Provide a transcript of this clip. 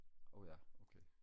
åh ja okay